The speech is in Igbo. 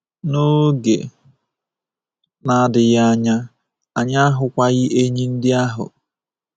N’oge na-adịghị anya, anyị ahụkwaghị enyí ndị ahụ.